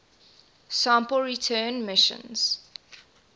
sample return missions